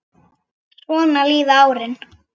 Svona líða árin.